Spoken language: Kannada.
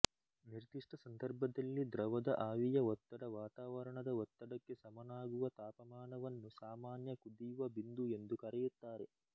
ನಿರ್ದಿಶ್ಟ ಸಂದರ್ಭದಲ್ಲಿ ದ್ರವದ ಆವಿಯ ಒತ್ತಡ ವಾತಾವರಣದ ಒತ್ತಡಕ್ಕೆ ಸಮನಾಗುವ ತಾಪಮಾನವನ್ನು ಸಾಮಾನ್ಯ ಕುದಿಯುವ ಬಿಂದು ಎಂದು ಕರೆಯುತ್ತಾರೆ